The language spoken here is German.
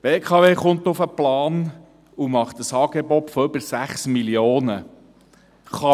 Die BKW kommt auf den Plan und macht ein Angebot von über 6 Mio. Franken.